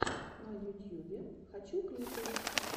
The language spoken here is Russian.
на ютьюбе хочу клипы